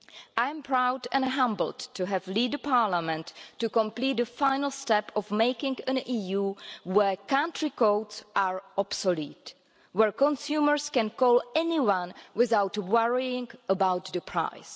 I am proud and humbled to have led Parliament to complete the final step in creating an EU where country codes are obsolete and where consumers can call anyone without worrying about the price.